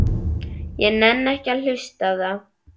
Ég nenni ekki að hlusta á það.